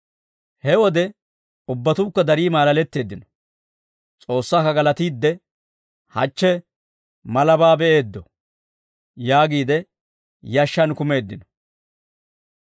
Ha wode ubbatuukka darii maalaletteeddino; S'oossaakka galatiidde, «Hachche malabaa be'eeddo» yaagiide yashshaan kumeeddino.